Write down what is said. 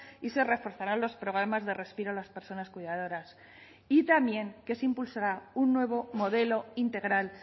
y se reforzarán los programas de respiro a las personas cuidadoras y también que se impulsará un nuevo modelo integral